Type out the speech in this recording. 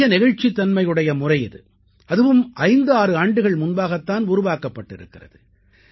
அதிக நெகிழ்ச்சித் தன்மை உடைய முறை இது அதுவும் 56 ஆண்டுகள் முன்பாகத் தான் உருவாக்கப் பட்டிருக்கிறது